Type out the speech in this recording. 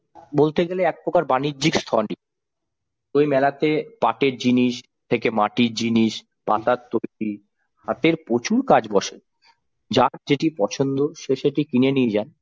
বলতে গেলে একপ্রকার বাণিজ্যিক স্থলই ওই মেলাতে পাটের জিনিস থেকে মাটির জিনিস পাতার তৈরি হাতের প্রচুর কাজ বসে যার যেটি পছন্দ সে সেটি কিনে নিয়ে যান।